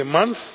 next month.